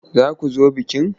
Za ku zo bikin?